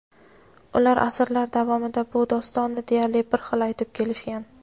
Ular asrlar davomida bu dostonni deyarli bir xil aytib kelishgan.